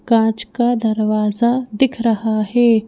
काच का दरवाजा दिख रहा है।